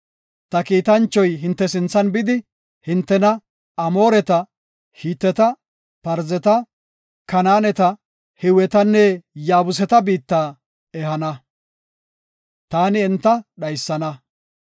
Ta kiitanchoy hinte sinthan bidi, hintena Amooreta, Hiteta, Parzeta, Kanaaneta, Hiwetanne Yaabuseta biitta ehana. Taani enta dhaysana.